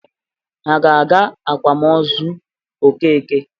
Ha ga-aga akwamozu Okeke?